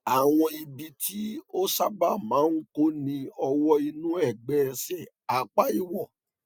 àwọn ibi tí ó sábà máa ń kó ni ọwọ inú ẹgbẹ ẹsẹ apá ìwọ